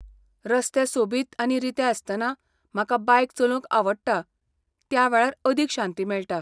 रस्ते सोबीत आनी रिते आसतना म्हाका बायक चलोवंक आवडटा, त्या वेळार अदीक शांती मेळटा.